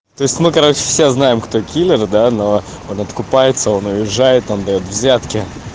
то есть мы короче всё знаем кто киллер да но он откупается он уезжает там даёт взятки